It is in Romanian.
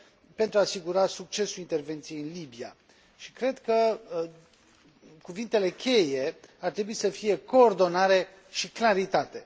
pentru a asigura succesul intervenției în Libia și cred că cuvintele cheie ar trebui să fie coordonare și claritate.